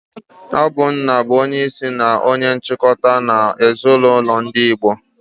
Ọ bu nna bu onye isi na onye nchikwa n'ọtụtụ ezinulo ndi Igbo.